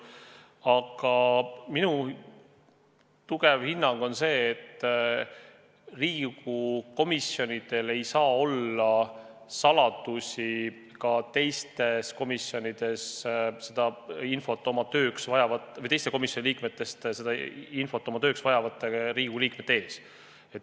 Aga minu raudne hinnang on see, et Riigikogu komisjonidel ei saa olla saladusi teiste komisjonide liikmete ees, kui nad vajavad infot oma töö huvides.